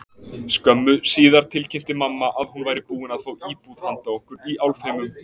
Skömmu síðar tilkynnti mamma að hún væri búin að fá íbúð handa okkur í Álfheimum.